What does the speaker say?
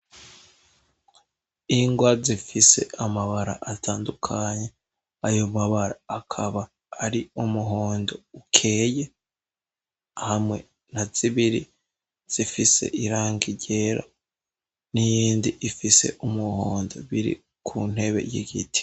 Ingwa zifise amabara atandukanye, ayo mabara akaba ari umuhondo ukeye, hamwe na zibiri zifise irangi ryera, n'iyindi ifise umuhondo, biri ku ntebe y'igiti.